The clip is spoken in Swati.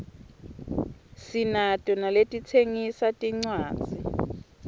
sinato naletitsengisa tincwadzi